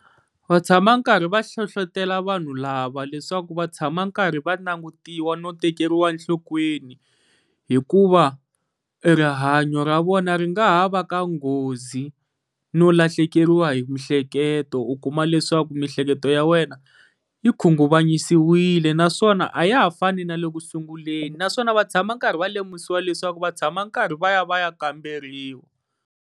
Va tshama karhi va hlohlotelo vanhu lava leswaku va tshama karhi va langutiwa no tekeriwa enhlokweni, hikuva rihanyo ra vona ri nga ha va ka nghozi no lahlekeriwa hi mihleketo, u kuma leswaku miehleketo ya wena yi khunguvanyisiwile, naswona a ya ha fani na le ku sunguleni naswona va tshama karhi va lemukisiwa leswaku va tshama va karhi va ya va ya kamberiwa.